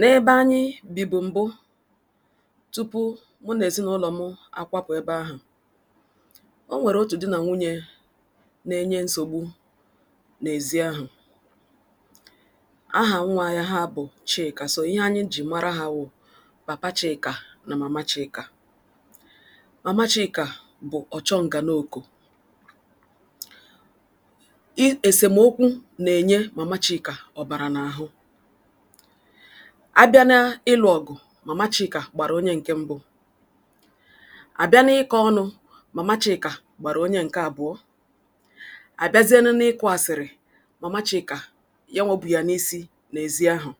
N'ebe anyị bibụ mbụ tupu mụ na ezinụlọ m akwapụ ebe ahụ, o nwere otu di na nwunye na-enye nsogbu n'ezí ahụ. Aha nwa ya ha bụ Chịka so, ihe anyị ji mara ha wụ Papa Chịka na Mama Chịka. Mama Chịka bụ ọchọnganoko. Ị esemeokwu na-enye Mama Chịka ọbara n'ahụ. A bịa n'ị́lụ ọgụ, Mama Chịka gbara onye nke mbụ. A bịa n'ịkọ ọnụ, Mama Chịka gbara onye nke abụọ. A bịazienụ n'ị́kụ asịrị, Mama Chịka nyanwa bu ya n'èzí ahụ.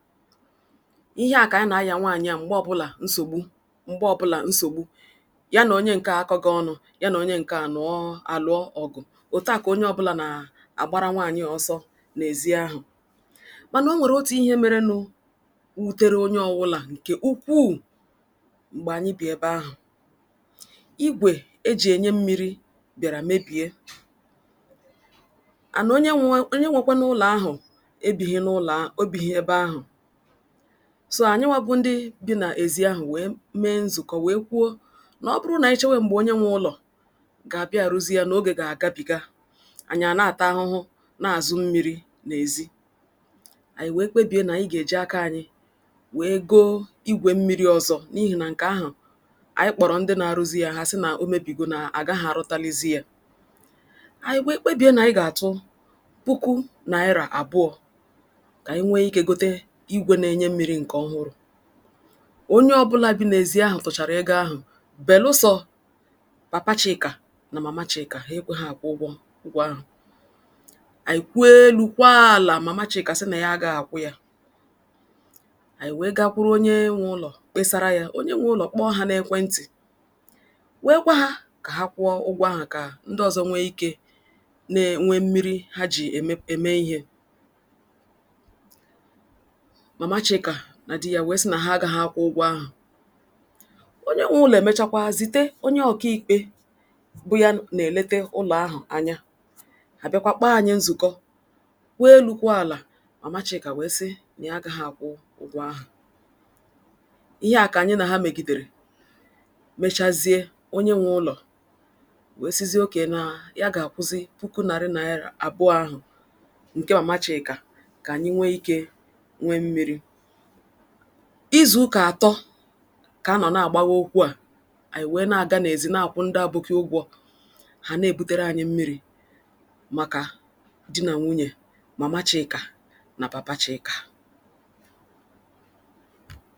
Ihe a k'anyị na-aya nwaanyị a mgbe ọbụla nsogbu mgbe ọbụla nsogbu. Ya na onye nke a akọgị ọnụ, ya na onye nke a a lụọ ọgụ. Otu a ka onye ọbụla na-agbara nwaanyị a ọsọ n'èzí ahụ. Mana o nwere otu ihe merenụ wutere onye ọbụla nke ukwuu mgbe anyị bi ebe ahụ. Ígwè e ji enye mmiri bịara mebie. And onye nwe onye nwekwanụ ụlọ ahụ ebighi n'ụlọ ahụ ebighi ebe ahụ. So, anyịnwa bụ ndị bi n'èzí ahụ wee mee nzukọ wee kwuo na ọ bụrụ na anyị chewe mgbe onye nwe ụlọ ga-abịa arụzi ya na oge ga-agabiga, anyị a na-ata ahụhụ na-azụ mmiri n'èzí. Anyị wee kpebie na anyị ga-eji aka anyị wee goo ígwe mmiri ọzọ n'ihi na nke ahụ, anyị kpọrọ ndị na-arụzi ya ha a sị na o mebigi na agaghị arụtalizi ya. Anyị wee kpebie na anyị ga-atụ puku naira abụọ k'anyị nwee ike gote igwe na-enye mmiri nke ọhụrụ. Onye ọbụla bi n'èzí ahụ tụchara ego ahụ beelụsọ̀ Papa Chịka na Mama Chịka, ha ekweghị akwụ́ ụgwọ ụgwọ ahụ. Anyị kwee elu kwaa ala Mama Chịka sị na ya agaghị akwụ́ ya. Anyị wee gakwuru onye nwe ụlọ kpesara ya. Onye nwe ụlọ kpọọ ha n'ekwentị wee gwa ha kwụọ ụgwọ ahụ ka ndị wee nwee ike nee nwee mmiri ha ji eme eme ihe. Mama Chịka na di ya wee sị na ha agaghị akwụ́ ụgwọ ahụ. Onye nwe ụlọ e mechaa kwa zite onye ọkàikpe bụ ya na-elete ụlọ ahụ anya. A bịakwa kpọọ anyị nzukọ. Kwuo elu kwuo ala Mama Chịka wee sị na ya agaghị akwụ́ ụgwọ ahụ. Ihe a ka anyị na ha megidere mechazie onye nwe ụlọ wee sịzie ok na ya ga-akwụzị Puku narị naịra abụọ ahụ nke Mama Chịka ka anyị nwee ike nwee mmiri. Izu ụka atọ ka a nọ na-agbawa okwu a. Anyị wee na-aga n'èzí na-akwụ ndị aboki ụgwọ. Ha na-ebutere anyị mmiri maka di na nwunye Mama Chịka na Papa Chịka.